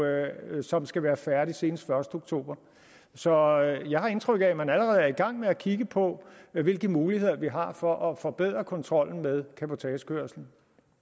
som skal være færdigt senest den første oktober så jeg har indtryk af at man allerede er i gang med at kigge på hvilke muligheder vi har for at forbedre kontrollen med cabotagekørslen